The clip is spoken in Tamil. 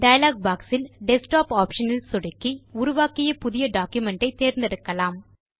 டயலாக் பாக்ஸ் இல் டெஸ்க்டாப் ஆப்ஷன் இல் சொடுக்கி உருவாக்கிய புதிய டாக்குமென்ட் ஐ தேர்ந்தெடுக்கலாம்